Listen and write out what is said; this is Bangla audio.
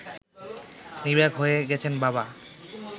নির্বাক হয়ে গেছেন বাবা